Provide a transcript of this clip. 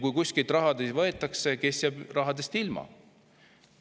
Kui kuskilt raha võetakse, siis kes jääb rahast ilma?